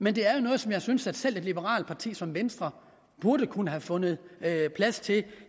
men det er noget som jeg synes selv et liberalt parti som venstre burde kunne have fundet plads til